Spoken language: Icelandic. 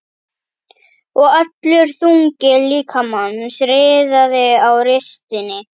Og allur þungi líkamans riðaði á ristinni.